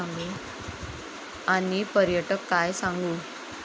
आणि पर्यटक काय सांगू?